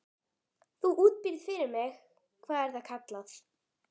Þú útbýrð fyrir mig- hvað er það kallað?